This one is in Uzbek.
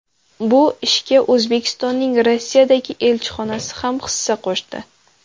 Bu ishga O‘zbekistonning Rossiyadagi elchixonasi ham hissa qo‘shdi.